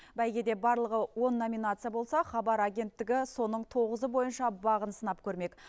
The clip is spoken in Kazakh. бәйгеде барлығы он номинация болса хабар агенттігі соның тоғызы бойынша бағын сынап көрмек